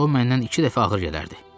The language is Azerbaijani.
ancaq o məndən iki dəfə ağır gələrdi.